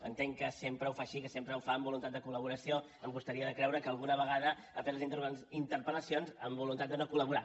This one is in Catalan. entenc que sempre ho fa així que sempre ho fa amb voluntat de col·laboració em costaria de creure que alguna vegada hagi fet les interpel·lacions amb voluntat de no col·laborar